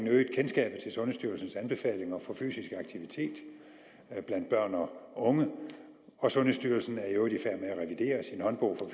øget kendskabet til sundhedsstyrelsens anbefalinger for fysisk aktivitet blandt børn og unge og sundhedsstyrelsen er at revidere sin håndbog for